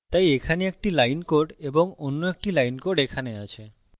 তাই এখানে একটি line code এবং অন্য একটি line code এখানে আছে